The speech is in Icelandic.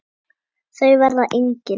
Þau verða engin.